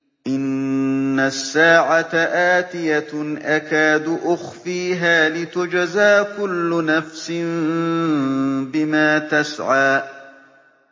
إِنَّ السَّاعَةَ آتِيَةٌ أَكَادُ أُخْفِيهَا لِتُجْزَىٰ كُلُّ نَفْسٍ بِمَا تَسْعَىٰ